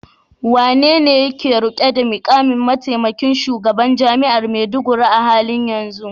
Wanene yake rike da mukamin mataimakin shugaban jami'ar Maiduguri a halin yanzu?